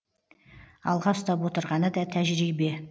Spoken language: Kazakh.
алға ұстап отырғаны да тәжірибе